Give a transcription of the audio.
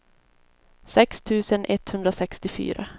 sex tusen etthundrasextiofyra